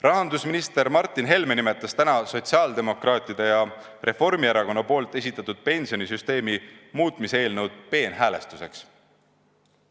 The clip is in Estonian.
Rahandusminister Martin Helme nimetas täna sotsiaaldemokraatide ja Reformierakonna esitatud pensionisüsteemi muutmise eelnõu peenhäälestuseks.